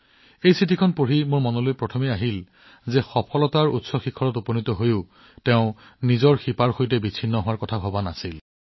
এই চিঠিখন পঢ়ি মোৰ মনলৈ প্ৰথমটো চিন্তা আহিছিল যে সফলতাৰ শীৰ্ষত উপনীত হোৱাৰ পাছতো তেওঁলোকে শিপাবোৰ নাপাহৰিলে